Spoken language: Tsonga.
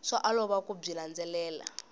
swa olova ku byi landzelela